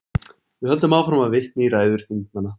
Við höldum áfram að vitna í ræður þingmanna.